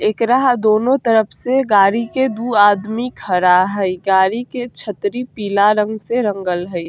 एकरा दोनों तरफ से गाड़ी के दू आदमी खड़ा हई। गाड़ी के छतरी पीला रंग से रंगल हई।